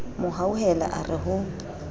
mo hauhela a re ho